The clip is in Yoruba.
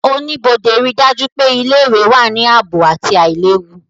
Oníbodé ríi dájú pé ilé-ìwé wà ní ààbò àti àìlewu